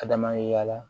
Ka dama ye y'a la